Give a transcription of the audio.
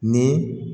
Ni